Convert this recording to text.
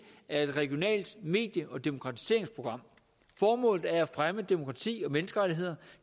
af et regionalt medie og demokratiseringsprogram formålet er at fremme demokrati og menneskerettigheder